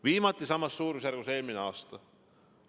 Viimati samas suurusjärgus eelmisel aastal.